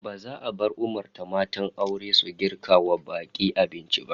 Ba za a bar umurtan matan aure su girka wa bak'i abinci ba